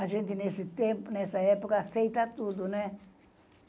A gente, nesse tempo, nessa época, aceita tudo, né?